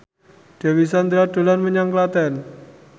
Dewi Sandra dolan menyang Klaten